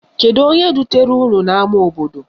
Kedu onye dutere unu n' ama obodo?